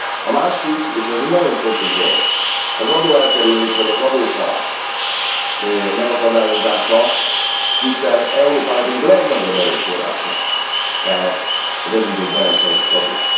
A másik, és ez egy nagyon fontos dolog, az adóelkerülés vagy adócsalás megakadályozása, hiszen Európának egyik legnagyobb erőforrása lehet az eddig még be nem szedett adó.